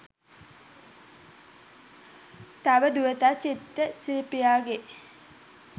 තව දුරටත් චිත්‍ර ශිල්පියාගේ